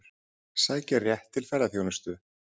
Sækja rétt til ferðaþjónustu